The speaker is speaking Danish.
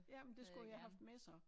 Ja men det skulle jo have haft med så